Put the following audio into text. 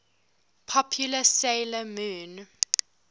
popular 'sailor moon